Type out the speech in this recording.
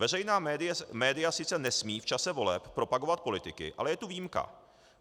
Veřejná média sice nesmí v čase voleb propagovat politiky, ale je tu výjimka.